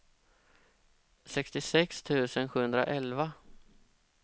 sextiosex tusen sjuhundraelva